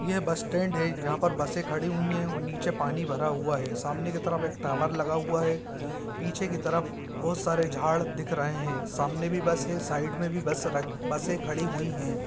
ये bus stand है यहां पर बसे खड़ी हुई हैऔर वह नीचे पानी भरा हुआ है सामने के तरफ एक टावर लगा हुआ है पीछे के तरफ बहुत सारी झाड़ दिख रहे हैं सामने भी बस है साइड में भी बसें खड़ी हुई है।